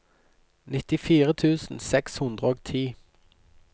nittifire tusen seks hundre og ti